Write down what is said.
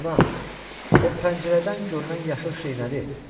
Ana, o pəncərədən görünən yaşıl şey nədir?